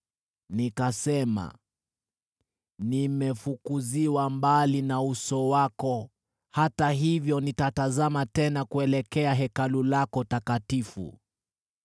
Nikasema, ‘Nimefukuziwa mbali na uso wako, hata hivyo nitatazama tena kuelekea Hekalu lako takatifu.’